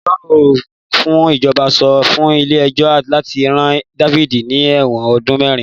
Agbẹjọ́rò fún ìjọba sọ fún ilé ẹjọ́ láti rán Dáfídì ní ẹ̀wọ̀n ọdún mẹ́rin.